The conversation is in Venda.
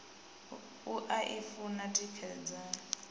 u a i funa tikedzani